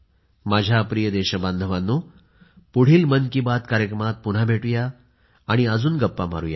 माझ्या प्रिय देशबांधवांनो पुढील मन की बात कार्यक्रमात भेटूया आणि अजून गप्पा मारुया